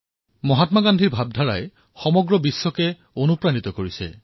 মহাত্মা গান্ধীৰ চিন্তাধাৰাই সমগ্ৰ বিশ্বকে উৎসাহিত কৰিছে